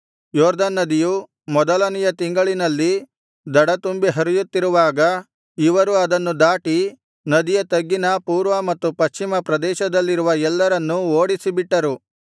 ಯೊರ್ದನ್ ನದಿಯು ಮೊದಲನೆಯ ತಿಂಗಳಿನಲ್ಲಿ ದಡ ತುಂಬಿ ಹರಿಯುತ್ತಿರುವಾಗ ಇವರು ಅದನ್ನು ದಾಟಿ ನದಿಯ ತಗ್ಗಿನ ಪೂರ್ವ ಮತ್ತು ಪಶ್ಚಿಮ ಪ್ರದೇಶದಲ್ಲಿರವ ಎಲ್ಲರನ್ನೂ ಓಡಿಸಿಬಿಟ್ಟರು